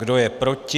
Kdo je proti?